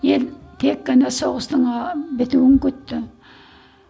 ел тек қана соғыстың ыыы бітуін күтті